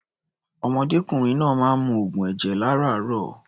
Ọ̀mọdékùnrin náà máa ń mu oògùn ẹ̀jẹ̀ lárààárọ̀.